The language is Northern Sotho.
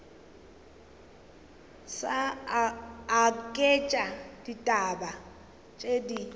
sa aketše ditaba ke di